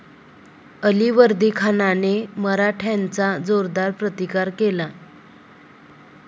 अलिवर्दीखानाने मराठ्यांचा जोरदार प्रतिकार केला.